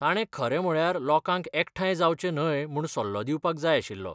ताणें खरें म्हळ्यार लोकांक एकठांय जावचें न्हय म्हूण सल्लो दिवपाक जाय आशिल्लो.